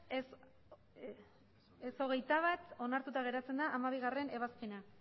ez hogeita bat onartuta geratzen da hamabigarrena ebazpena